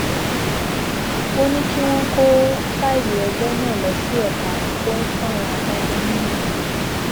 ó ní kí wọn kó fáìlì ẹjọ náà lọ sí ẹka tó ń fáwọn adájọ nímọràn